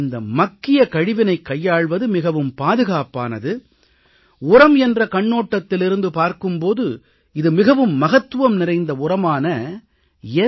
இந்த மக்கிய கழிவினைக் கையாள்வது மிகவும் பாதுகாப்பானது உரம் என்ற கண்ணோட்டத்திலிருந்து பார்க்கும் போது இது மிகவும் மகத்துவம் நிறைந்த உரமான என்